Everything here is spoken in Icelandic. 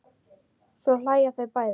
Svo hlæja þau bæði.